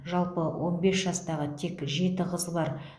жалпы он бес жастағы тек жеті қыз бар